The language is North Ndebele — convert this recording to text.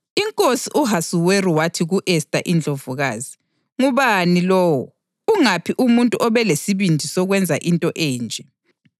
Inkosi u-Ahasuweru wathi ku-Esta iNdlovukazi, “Ngubani lowo? Ungaphi umuntu obelesibindi sokwenza into enje?”